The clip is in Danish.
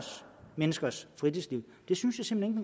menneskers fritidsliv synes jeg simpelt